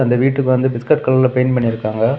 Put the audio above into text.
இந்த வீட்டுக்கு வந்து பிஸ்கட் கலர்ல பெயிண்ட் பண்ணிருக்காங்க.